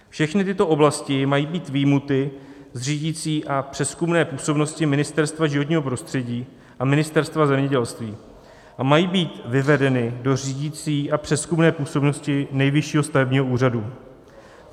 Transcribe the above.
Všechny tyto oblasti mají být vyjmuty z řídicí a přezkumné působnosti Ministerstva životního prostředí a Ministerstva zemědělství a mají být vyvedeny do řídicí a přezkumné působnosti Nejvyššího stavebního úřadu.